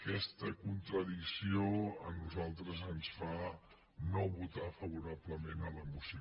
aquesta contradicció a nosaltres ens fa no votar favo·rablement la moció